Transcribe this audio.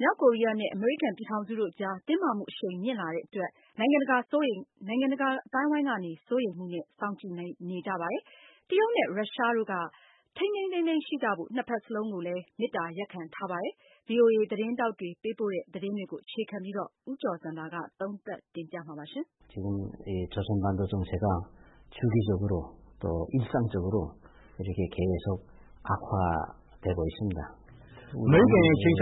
မြောက်ကိုရီးယားနဲ့ အမေရိကန်ပြည်ထောင်စုတို့အကြား တင်းမာမှုအရှိန်မြင့်လာတဲ့ အတွက် နိုင်ငံတကာက စိုးရိမ်မှုနဲ့စောင့်ကြည့်နေကြပါတယ်။ တရုတ်နဲ့ ရုရှားတို့ကတော့ ထိန်းထိန်းသိမ်းသိမ်းရှိကြဖို့ ၂ ဘက်စလုံးကိုမေတ္တာရပ်ခံထားပါတယ်။ VOA သတင်းထောက်တွေ ပေးပို့တဲ့ သတင်းတွေကိုအခြေခံပြီး ဦးကျော်ဇံသာက သုံးသပ်တင်ပြထားပါတယ်။ " အမေရိကန်က ခြိမ်းခြေ